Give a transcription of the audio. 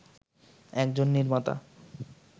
একজন নির্মাতা